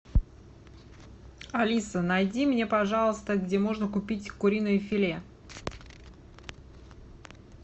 алиса найди мне пожалуйста где можно купить куриное филе